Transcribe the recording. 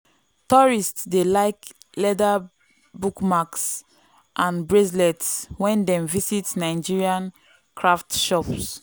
tourists dey like leather bookmarks and bracelets when dem visit nigerian craft shops.